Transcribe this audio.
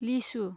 लिसु